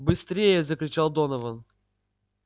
быстрее закричал донован